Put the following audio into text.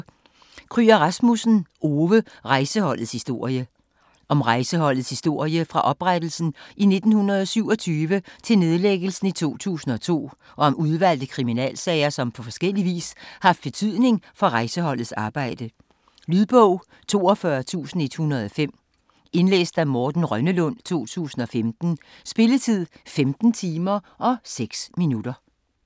Kryger Rasmussen, Ove: Rejseholdets historie Om Rejseholdets historie fra oprettelsen i 1927 til nedlæggelsen i 2002 og om udvalgte kriminalsager som på forskellig vis har haft betydning for Rejseholdets arbejde. Lydbog 42105 Indlæst af Morten Rønnelund, 2015. Spilletid: 15 timer, 6 minutter.